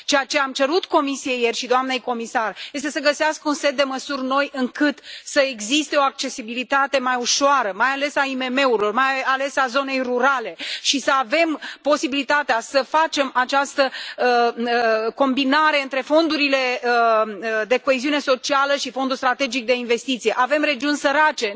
Ceea ce am cerut ieri Comisiei și doamnei comisar este să găsească un set de măsuri noi, astfel încât să existe o accesibilitate mai ușoară, mai ales a IMM urilor, mai ales a zonei rurale și să avem posibilitatea să facem această combinare între fondurile de coeziune socială și Fondul european pentru investiții strategice. Avem regiuni sărace.